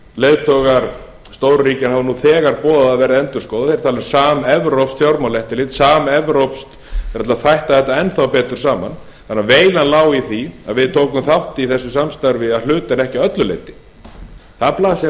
leiðtogar stóru ríkjanna hafa nú þegar boðað að verði endurskoðað þetta er alveg samevrópskt fjármálaeftirlit samevrópskt það er hægt að þætta þetta enn þá betur saman þannig að veilan lá í því að við tókum þátt í þessu samstarfi að hluta en ekki öllu leyti það blasir